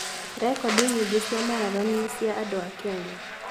Rekondi nyingĩ cia marathoni nĩ cia andũ a Kenya.